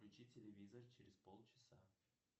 включи телевизор через полчаса